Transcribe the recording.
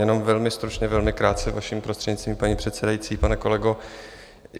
Jenom velmi stručně, velmi krátce, vaším prostřednictvím, paní předsedající, pane kolego.